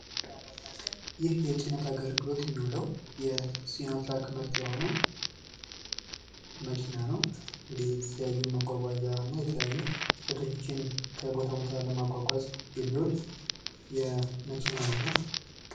ይህ የጭነት አገልግሎት የሚውለው የሲኖ ትራክ ምርት የሆነው መኪና ነው። የተለያዩ መጓጓዣ አና የተለያዩ ጭነቶችን ከቦታ ቦታ ለማጓጓዝ የሚውል የመኪና አይነት ነው።